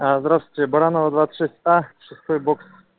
здравствуйте баранова двадцать шесть а шестой бокс